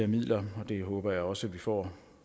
midler og den håber jeg også vi får